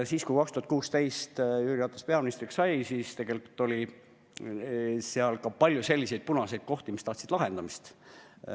Siis, kui 2016 Jüri Ratas peaministriks sai, oli tegelikult ka palju selliseid punaseid kohti, mis tahtsid lahendamist.